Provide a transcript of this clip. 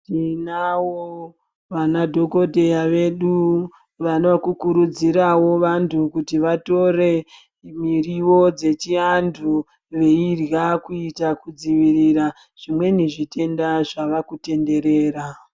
Tinawo vanadhokodheya vedu vanoda kukurudziravo vantu kuti vatore miriwo dzechiantu veirya kuita kudzivirira zvimweni zvitenda zvava kutenderera.